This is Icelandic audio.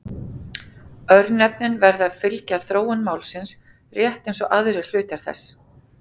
Örnefnin verða að fylgja þróun málsins rétt eins og aðrir hlutar þess.